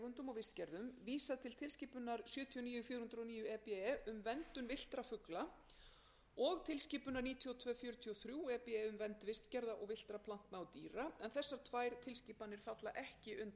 og vistgerðum vísað til tilskipunar sjötíu og níu fjögur hundruð og níu e b um verndun villtra fugla og tilskipunar níutíu og tveir fjörutíu og þrjú e b um vernd vistgerða villtra plantna og dýra en þessar tvær tilskipanir falla ekki undir e e s samninginn